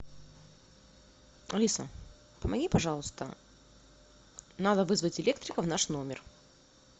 алиса помоги пожалуйста надо вызвать электрика в наш номер